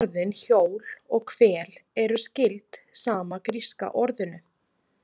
Íslensku orðin hjól og hvel eru skyld sama gríska orðinu.